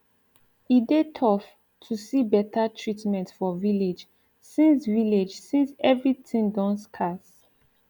e dey tough too see beta treatment for village since village since everi tin don scarce